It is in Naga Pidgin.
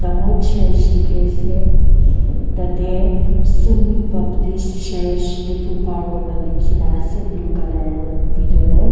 aho church diki ase tate sumi baptist church diphupar kurna liki na ase blue color bidor de.